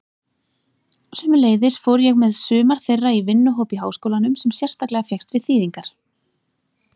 Sömuleiðis fór ég með sumar þeirra í vinnuhóp í háskólanum sem sérstaklega fékkst við þýðingar.